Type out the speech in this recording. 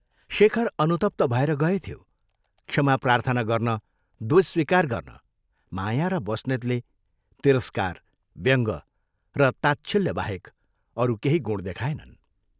शेखर अनुतप्त भएर गएथ्यो, क्षमा प्रार्थना गर्न दोष स्वीकार गर्न माया र बस्नेतले तिरस्कार, व्यङ्ग र ताच्छिल्य बाहेक अरू केही गुण देखाएनन्।